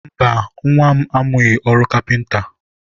mba, nwa m amụghị ọrụ kapịnta.